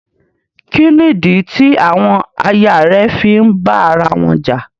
Kí nídí tí àwọn àyà rẹ̀ fí ń bá ara wọn jà?